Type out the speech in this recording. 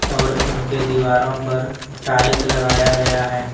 और इनके दीवारों पर टाइल्स लगाया गया है।